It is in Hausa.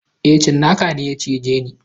E, tsinaka ne ya cije ni.